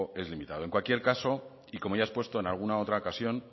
es limitado en cualquier caso y como ya he expuesto en alguna otra ocasión